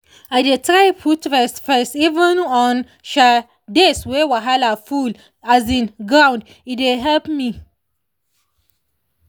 i dey try put rest first even on um days wey wahala full um ground—e dey help me.